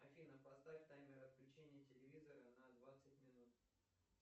афина поставь таймер отключения телевизора на двадцать минут